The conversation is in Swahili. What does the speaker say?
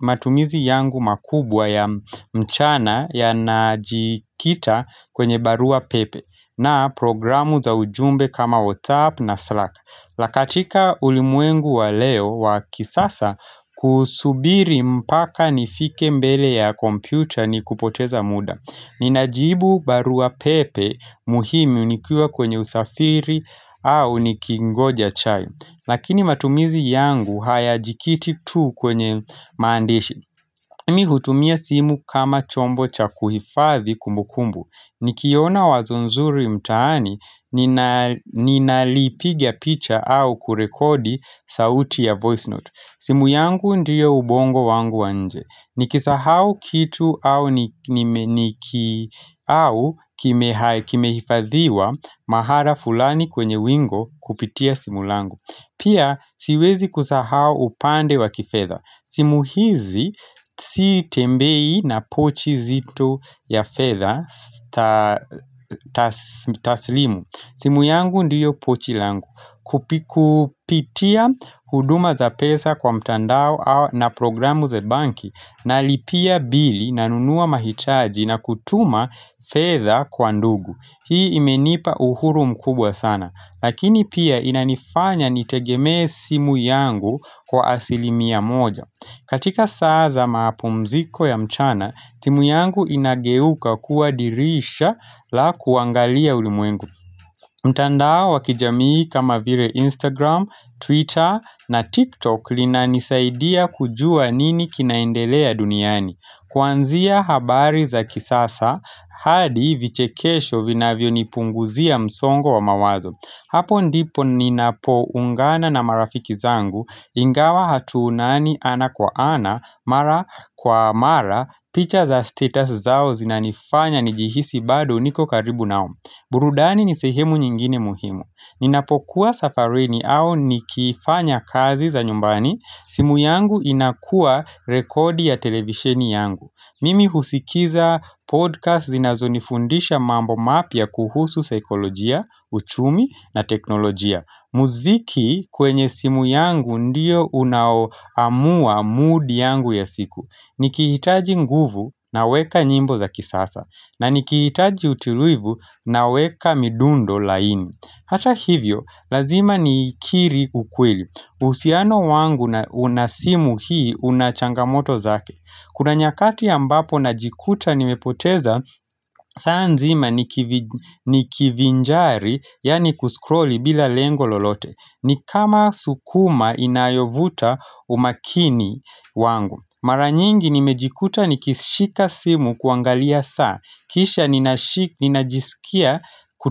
matumizi yangu makubwa ya mchana ya najikita kwenye barua pepe na programu za ujumbe kama WhatsApp na Slack la katika ulimwengu wa leo wa kisasa kusubiri mpaka nifike mbele ya kompyucha ni kupoteza muda Ninajibu barua pepe muhimi unikiuwa kwenye usafiri au nikingoja chai Lakini matumizi yangu hayajikiti tu kwenye msandishi mi hutumia simu kama chombo cha kuhifadhi kumbukumbu Nikiona wazo nzuri mtaani ninalipigia picha au kurekodi sauti ya voice note simu yangu ndiye ubongo wangu wa nje Nikisahau kitu au kimehifadhiwa mahala fulani kwenye wingo kupitia simu langu Pia siwezi kusahau upande wa kifedha simu hizi sitembei na pochi zetu ya fedha taslimu simu yangu ndiyo pochi langu Kupitia huduma za pesa kwa mtandao na programu ze banki na lipia bili nanunua mahitaji na kutuma fedha kwa ndugu Hii imenipa uhuru mkubwa sana Lakini pia inanifanya nitegemee simu yangu kwa asilimia moja katika saa za maapumziko ya mchana simu yangu inageuka kua dirisha la kuangalia ulimwengu mtandao wakijamii kama vile Instagram, Twitter na TikTok linanisaidia kujua nini kinaendelea duniani. Kwanzia habari za kisasa hadi vichekesho vinavyonipunguzia msongo wa mawazo. Hapo ndipo ninapoungana na marafiki zangu ingawa hatuonani ana kwa ana mara kwa mara picha za status zao zinanifanya nijihisi bado niko karibu nao. Burudani ni sehemu nyingine muhimu. Ninapokuwa safarini au nikifanya kazi za nyumbani, simu yangu inakua rekodi ya televisheni yangu. Mimi husikiza podcast zinazonifundisha mambo mapya kuhusu saikolojia, uchumi na teknolojia. Muziki kwenye simu yangu ndiyo unaoamua mood yangu ya siku Nikihitaji nguvu na weka nyimbo za kisasa na nikihitaji utulivu na weka midundo laini Hata hivyo, lazima nikiri ukweli uhusiano wangu na una simu hii una changamoto zake Kuna nyakati ambapo najikuta nimepoteza saa nzima nikivinjari, yani kuscrolli bila lengo lolote ni kama sukuma inayovuta umakini wangu Mara nyingi nimejikuta nikishika simu kuangalia saa Kisha ninajisikia kutu.